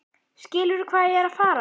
Skilurðu hvað ég er að fara?